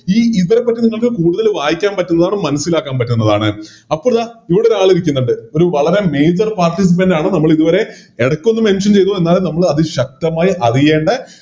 ഈ ഇതിനെപറ്റി നിങ്ങൾക്ക് കൂടുതൽ വായിക്കാൻ പറ്റുന്നതാണ് മനസിലാക്കാൻ പറ്റുന്നതാണ് അപ്പോളിത ഇവിടെയൊരാളിരിക്കുന്നുണ്ട് ഒരു വളരെ Major participant ആണ് നമ്മളിതുവരെ എടക്കൊന്ന് Mention ചെയ്തു എന്നാലും നമ്മള് അതിശക്തമായി അറിയണ്ട